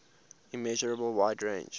immeasurable wide range